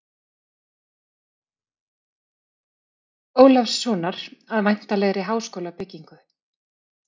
Ólafssonar að væntanlegri háskólabyggingu.